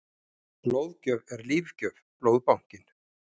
Blóðgjöf er lífgjöf- Blóðbankinn.